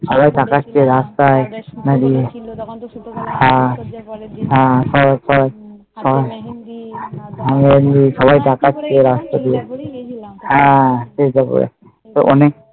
সবাই তাকাচ্ছে রাস্তায় হ্যাঁ সবাই তাকচ্ছে ওরা হ্যাঁ